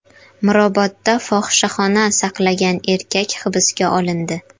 Mirobodda fohishaxona saqlagan erkak hibsga olindi.